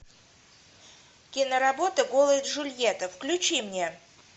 киноработа голая джульетта включи мне